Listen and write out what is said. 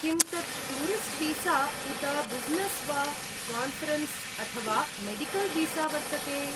किं तत् टूरिस्ट्वीसा उत ब्युसिनेस् वा, कान्फ़रेन्स् अथवा मेडिकल्वीसा वर्तते?